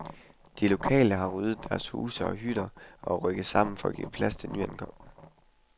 De lokale har ryddet deres huse og hytter og er rykket sammen for at give plads til de nyankomne.